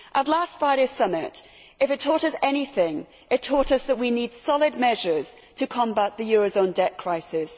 Last Friday's summit, if it taught us anything, taught us that we need solid measures to combat the eurozone debt crisis.